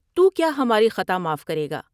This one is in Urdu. تو کیا ہماری خطا معاف کرے گا ۔